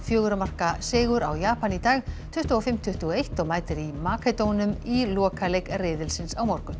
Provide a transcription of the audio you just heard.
fjögurra marka sigur á Japan í dag tuttugu og fimm til tuttugu og eitt og mætir í í lokaleik riðilsins á morgun